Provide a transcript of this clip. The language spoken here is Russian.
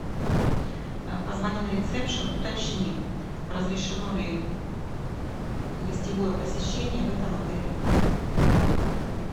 позвони на ресепшен уточни разрешено ли гостевое посещение в этом отеле